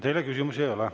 Teile küsimusi ei ole.